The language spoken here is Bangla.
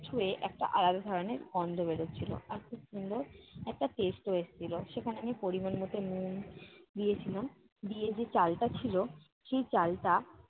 হয়ে একটা আলাদা ধরণের গন্ধ বেরোচ্ছিল। আর খুব সুন্দর একটা taste ও এসেছিলো। সেখানে আমি পরিমাণ মতো নুন দিয়েছিলাম, দিয়ে যে চালটা ছিল সেই চালটা